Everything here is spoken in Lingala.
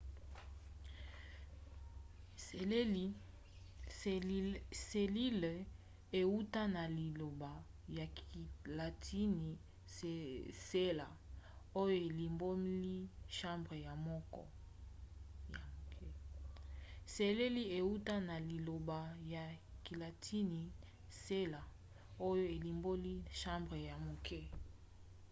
selile euta na liloba ya kilatini cella oyo elimboli chambre ya moke